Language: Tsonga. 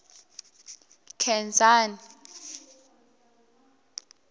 nkhensani